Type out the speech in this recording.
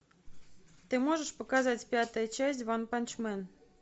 ты можешь показать пятая часть ванпанчмен